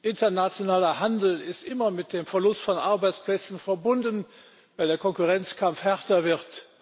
Internationaler Handel ist immer mit dem Verlust von Arbeitsplätzen verbunden, weil der Konkurrenzkampf härter wird.